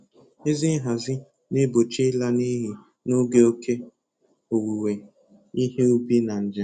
Ezi Nhazi na-egbochi ịla n'iyi n'oge oke owuwe ihe ubi na njem.